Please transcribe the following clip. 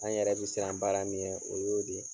An yɛrɛ be siran baara min ɲɛ o y'o de ye.